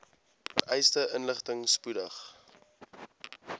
vereiste inligting spoedig